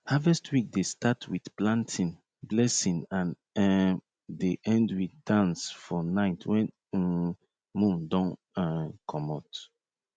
harvest week dey start with planting blessing and um dey end with dance for night when um moon don um komot